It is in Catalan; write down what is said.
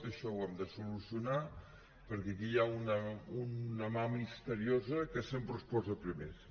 això ho hem de solucionar perquè aquí hi ha una mà misteriosa que sempre us posa primers